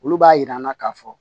Olu b'a yir'an na k'a fɔ